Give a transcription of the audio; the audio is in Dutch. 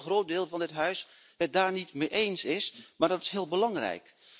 Ik weet dat een groot deel van dit Parlement het daar niet mee eens is, maar dat is heel belangrijk.